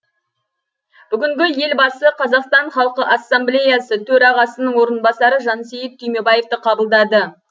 бүгінгі елбасы қазақстан халқы ассамблеясы төрағасының орынбасары жансейіт түймебаевты қабылдады